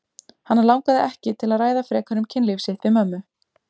Hana langaði ekki til að ræða frekar um kynlíf sitt við mömmu.